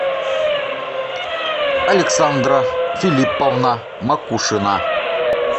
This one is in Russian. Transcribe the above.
александра филипповна макушина